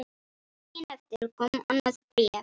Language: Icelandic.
Daginn eftir kom annað bréf.